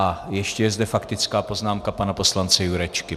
A ještě je zde faktická poznámka pana poslance Jurečky.